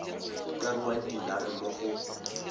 ka ruang dinare mo go